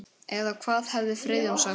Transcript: Eða hvað hefði Friðjón sagt?